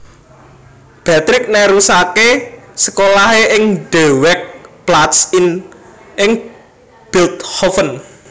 Beatrix nerusaké sekolahé ing De Werkplaats ing Bilthoven